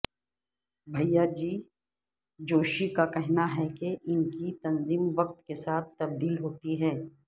بھیاجی جوشی کا کہنا ہے کہ ان کی تنظیم وقت کے ساتھ تبدیل ہوتی ہے